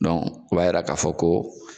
Dɔn o b'a yira ka fɔ ko